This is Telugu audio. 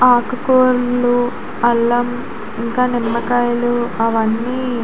ఆకుకూరలు అల్లం ఇంకా నిమ్మకాయలు అవన్నీ --